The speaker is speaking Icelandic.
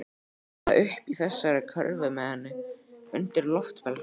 Eða uppi í þessari körfu með henni. undir loftbelgnum.